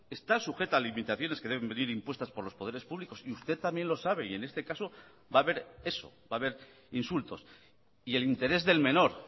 está sujeta a limitaciones que deben venir impuestas por los poderes públicos y usted también lo sabe y en este caso va a haber eso va a haber insultos y el interés del menor